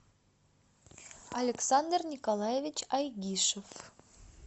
александр николаевич айгишев